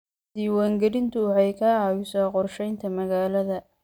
Diiwaangelintu waxay ka caawisaa qorshaynta magaalada.